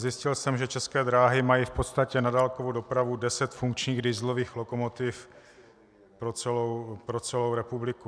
Zjistil jsem, že České dráhy mají v podstatě na dálkovou dopravu deset funkčních dieselových lokomotiv pro celou republiku.